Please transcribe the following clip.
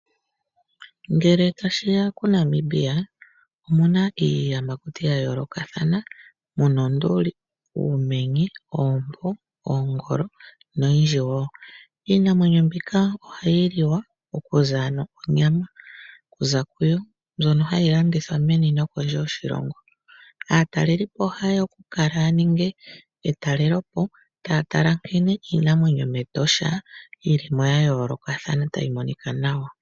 Ngele tashi ya kuNamibia omu na iiyamakuti ya yoolokathana. Mu na onduli, uumenye, oompo, oongolo noyindji wo. Iinamwenyo mbika ohayi liwa, onyama ndjoka hayi zi kuyo, ndjono hayi landithwa meni nokondje yoshilongo. Aatalelipo ohaye ya okukala ya ninge etalelopo, taa tala nkene iinamwenyo mEtosha yi li mo ya yoolokathana tayi monika nawa.